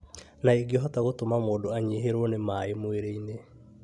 na ĩngĩhota gũtũma mũndũ anyihĩrwo nĩ maĩ mwĩrĩ-inĩ,